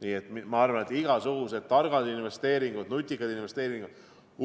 Nii et ma arvan, et igasugused targad investeeringud, nutikad investeeringud,